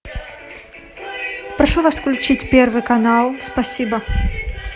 прошу вас включить первый канал спасибо